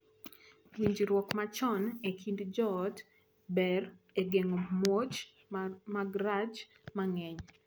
Winjruok machon e kind joot ber e geng’o muoch mag rach mang’eny.